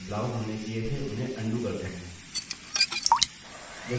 जो बदलाव हमने किए थे उन्हें अन्डू करते हैं